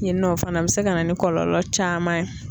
Yen nɔ o fana bɛ se ka na ni kɔlɔlɔ caman ye.